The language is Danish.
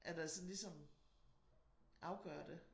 At der sådan ligesom afgør det